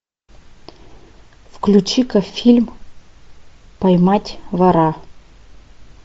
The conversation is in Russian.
включи ка фильм поймать вора